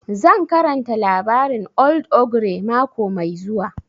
Zan karanta labarin old ogre mako mai zuwa